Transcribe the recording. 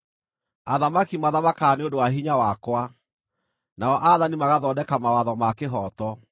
Athamaki mathamakaga nĩ ũndũ wa hinya wakwa nao aathani magathondeka mawatho ma kĩhooto;